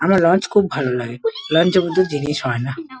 আমার লঞ্চ খুব ভালো লাগে লঞ্চ -এর মতো জিনিস হয় না।